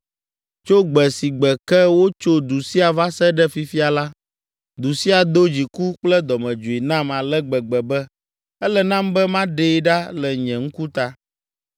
Tso gbe si gbe ke wotso du sia va se ɖe fifia la, du sia do dziku kple dɔmedzoe nam ale gbegbe be ele nam be maɖee ɖa le nye ŋkuta.